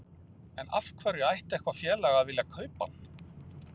En af hverju ætti eitthvað félag að vilja kaupa hann?